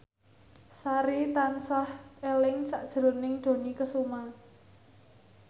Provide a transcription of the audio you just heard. Sari tansah eling sakjroning Dony Kesuma